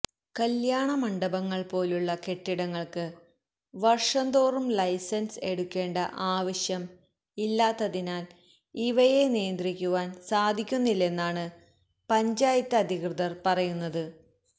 കല്യാണ മണ്ഡപങ്ങൾ പോലുള്ള കെട്ടിടങ്ങൾക്ക് വർഷംതോറും ലൈസൻസ് എടുക്കേണ്ട ആവശ്യം ഇല്ലാത്തതിനാൽ ഇവയെ നിയന്ത്രിക്കുവാൻ സാധിക്കുന്നില്ലെന്നാണ് പഞ്ചായത്ത് അധികൃതർ പറയുന്നത്